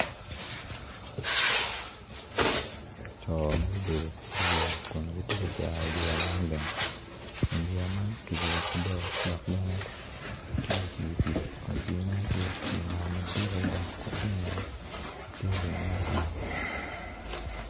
Co ma gubedo i yeya kun gitye ka cero yeya man bene kun yeya man ki guru bao dok benetye i wi pii kun pii man tye pii nam madit adada kun ki ingete ti lum ma otwi